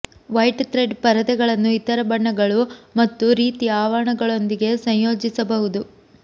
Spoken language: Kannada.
ವೈಟ್ ಥ್ರೆಡ್ ಪರದೆಗಳನ್ನು ಇತರ ಬಣ್ಣಗಳು ಮತ್ತು ರೀತಿಯ ಆವರಣಗಳೊಂದಿಗೆ ಸಂಯೋಜಿಸಬಹುದು